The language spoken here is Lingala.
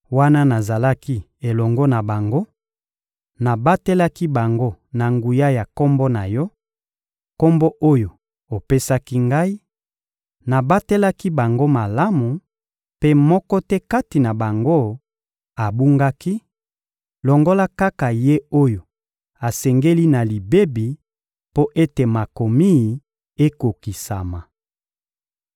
Wana nazalaki elongo na bango, nabatelaki bango na nguya ya Kombo na Yo, Kombo oyo opesaki Ngai; nabatelaki bango malamu, mpe moko te kati na bango abungaki, longola kaka ye oyo asengeli na libebi mpo ete Makomi ekokisama.